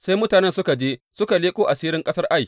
Sai mutanen suka je suka leƙo asirin ƙasar Ai.